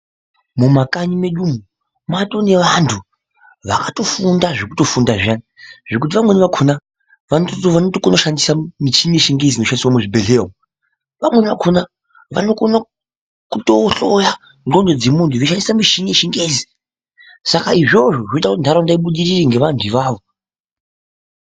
Mumakanyi medu umo matoo nevantu vakatofunda zvekutofunda zviyani zvokuti vamweni vakona vanotokona kushandisa muchini yechingezi inoshandiswa muzvibhedhleya, vamweni vakona kutoohloya ndxondo dzemuntu veishandisa mishini yechingezi, saka izvozvo zvinoitaa kuti nharaunda yedu ibudirire ngevanhu ivavo.